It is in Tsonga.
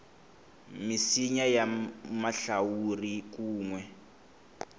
misinya ya mahlawuri kun we